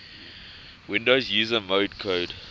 windows user mode code